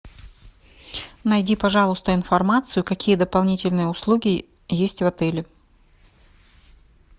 найди пожалуйста информацию какие дополнительные услуги есть в отеле